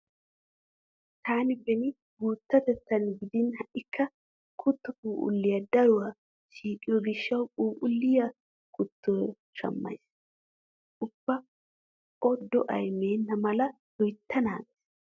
Taani beni guuttatettan gidin ha"ikka kutto phuuphulliya daruwa siiqiyo gishshawu phuuphulliya kuttiyo shammays. Ubba o da'ay meenna mala loytta naagays.